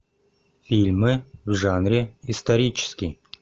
фильмы в жанре исторический